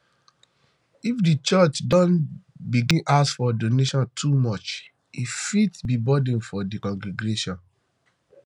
if di um church don begin ask for donation too much um e fit fit be burden for di congregation um